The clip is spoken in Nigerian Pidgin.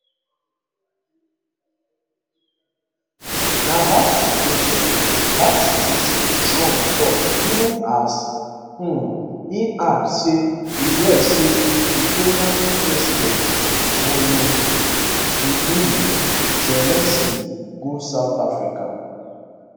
na bad situation bad situation trump tok even as um e add say e hear say ukrainian president volodymyr zelensky go south africa